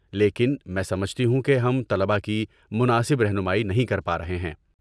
لیکن، میں سمجھتی ہوں کہ ہم طلبہ کی مناسب رہنمائی نہیں کر پا رہے ہیں۔